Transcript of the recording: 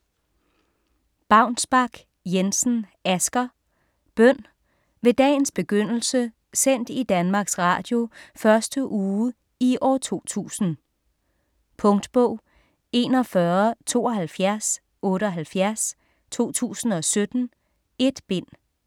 Baunsbak-Jensen, Asger: Bøn: Ved dagens begyndelse sendt i Danmarks Radio første uge i år 2000 Punktbog 417278 2017. 1 bind.